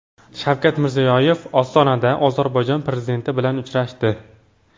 Shavkat Mirziyoyev Ostonada Ozarbayjon prezidenti bilan uchrashdi.